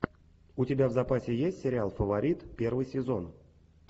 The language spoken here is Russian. у тебя в запасе есть сериал фаворит первый сезон